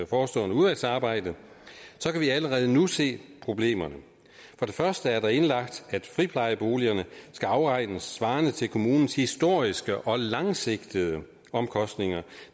forestående udvalgsarbejde kan vi allerede nu se problemerne først og fremmest er der indlagt at friplejeboligerne skal afregnes svarende til kommunens historiske og langsigtede omkostninger